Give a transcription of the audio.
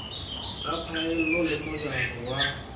ya phaello le mojaro wa